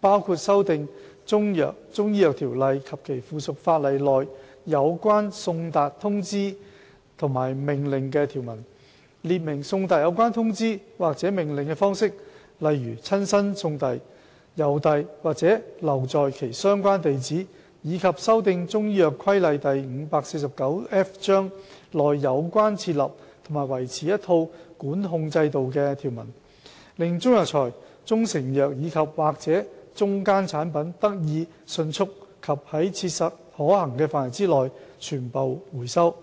包括修訂《條例》及其附屬法例內有關送達通知和命令的條文，列明送達有關通知或命令的方式，例如親身送遞、郵遞或留在其相關地址，以及修訂《中藥規例》內有關設立和維持一套管控制度的條文，令中藥材、中成藥及/或中間產品得以迅速及在切實可行範圍內全部回收。